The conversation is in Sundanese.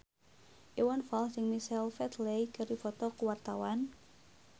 Iwan Fals jeung Michael Flatley keur dipoto ku wartawan